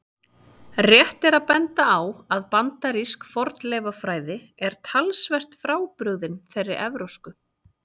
Rétt er að benda á að bandarísk fornleifafræði er talsvert frábrugðin þeirri evrópsku.